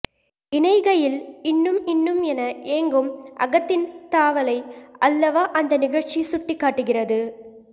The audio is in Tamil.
இணைகையில் இன்னும் இன்னும் என ஏங்கும் அகத்தின் தாவலை அல்லவா அந்த நிகழ்ச்சி சுட்டிக்காட்டுகிறது